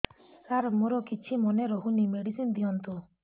ସାର ମୋର କିଛି ମନେ ରହୁନି ମେଡିସିନ ଦିଅନ୍ତୁ